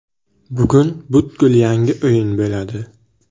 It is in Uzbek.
Bugun butkul yangi o‘yin bo‘ladi.